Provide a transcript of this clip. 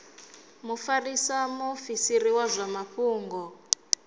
mufarisa muofisiri wa zwa mafhungo